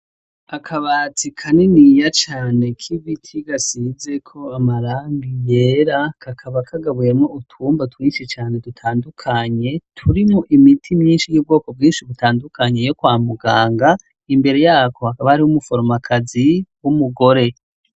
Akabati kaniniya cane k'ibiti gasizeko amarangi yera kakaba kagabuyemwo utwumba twinshi cane dutandukanye turimwo imiti myinshi y'ubwoko bwinshi butandukanye yokwa muganga, imbere yako hakaba hari umuforomakazi w'umugore.